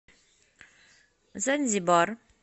занзибар